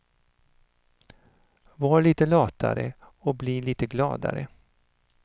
Var lite latare, och bli lite gladare.